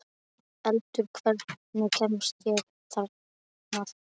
Eldur, hvernig kemst ég þangað?